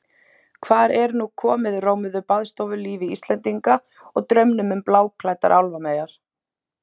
Hvar er nú komið rómuðu baðstofulífi Íslendinga og draumum um bláklæddar álfameyjar?